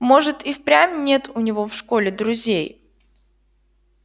может и впрямь нет у него в школе друзей